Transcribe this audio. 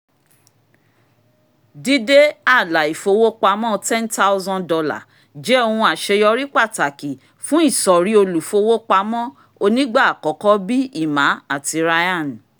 dídé àlà ìfowópamọ̀ $ ten thousand jẹ́ ohun àṣeyọrí pàtàkì fún ìsọ̀rí olùfowópamọ́ onígbà-àkọ́kọ̀ bí i emma àti ryan